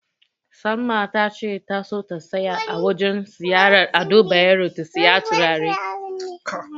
Salma tace ta so ta tsaya a wajen siyayyar Ado Bayero ta siyi turare.